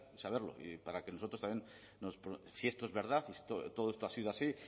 saberlo y para que nosotros también si esto es verdad y todo esto ha sido así